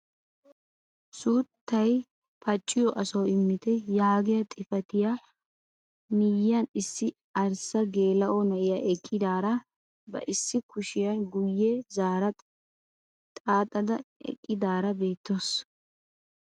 Suuttay paacciyoo asawu immite yaagiyaa xifatiyaa miyiyaan issi arssa geela'o na'iyaa eqqidaara ba issi kushiyaa guye zaara xaaxada eqqidaara beettawus.